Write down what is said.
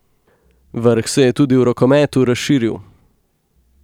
Vrh se je tudi v rokometu razširil.